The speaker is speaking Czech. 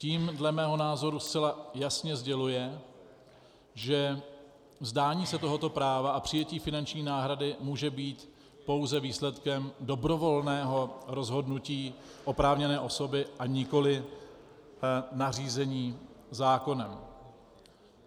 Tím dle mého názoru zcela jasně sděluje, že vzdání se tohoto práva a přijetí finanční náhrady může být pouze výsledkem dobrovolného rozhodnutí oprávněné osoby, a nikoli nařízení zákonem.